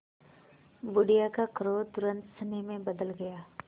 बुढ़िया का क्रोध तुरंत स्नेह में बदल गया